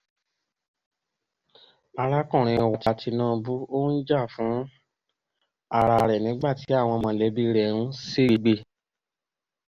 arákùnrin wa tinubu ó ń jà fún ara rẹ̀ nígbà tí àwọn mọ̀lẹ́bí rẹ̀ ń ṣègbè